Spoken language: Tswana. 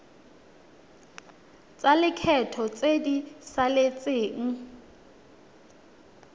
tsa lekgetho tse di saletseng